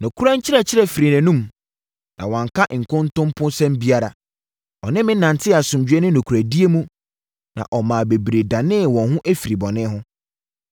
Nokorɛ nkyerɛkyerɛ firii nʼanom, na wanka nkontomposɛm biara. Ɔne me nantee asomdwoeɛ ne nokorɛdie mu, na ɔmaa bebree danee wɔn ho firii bɔne ho.